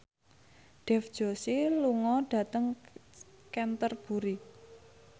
Dev Joshi lunga dhateng Canterbury